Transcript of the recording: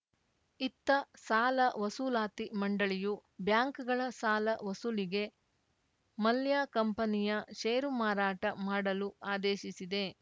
ಇತ್ತ ಸಾಲ ವಸೂಲಾತಿ ಮಂಡಳಿಯು ಬ್ಯಾಂಕ್‌ಗಳ ಸಾಲ ವಸೂಲಿಗೆ ಮಲ್ಯ ಕಂಪನಿಯ ಷೇರು ಮಾರಾಟ ಮಾಡಲು ಆದೇಶಿಸಿದೆ